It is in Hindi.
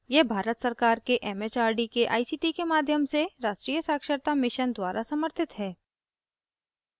यह भारत सरकार के एमएचआरडी के आईसीटी के माध्यम से राष्ट्रीय साक्षरता mission द्वारा समर्थित है